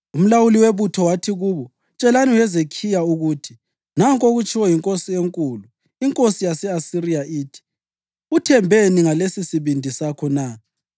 Umlawuli webutho wathi kubo, “Tshelani uHezekhiya ukuthi: ‘Nanku okutshiwo yinkosi enkulu, inkosi yase-Asiriya ithi: Uthembeni ngalesisibindi sakho na?